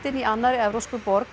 í annarri evrópskri borg